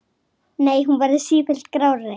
Nei, hún verður sífellt grárri.